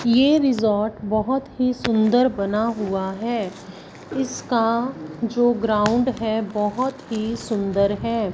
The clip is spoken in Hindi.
ए रिजॉर्ट बहोत बहुत ही सुंदर बना हुआ है इसका जो ग्राउंड है बहोत ही सुंदर है।